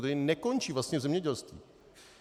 Tedy nekončí vlastně v zemědělství!